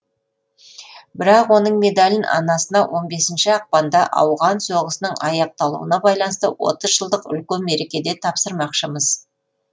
бірақ оның медалін анасына он бесінші ақпанда ауған соғысының аяқталуына байланысты отыз жылдық үлкен мерекеде тапсырмақшымыз